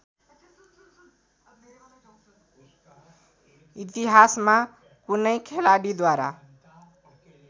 इतिहासमा कुनै खेलाडीद्वारा